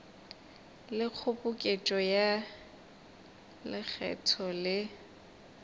le kgoboketšo ya lekgetho le